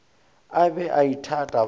e ba ba ithata ba